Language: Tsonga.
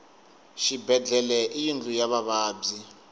xibedlhele i yindlu ya vavabyi